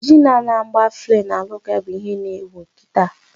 Jin a-na agba flay na ala ụkwụ ya bụ ihe na ewu kịta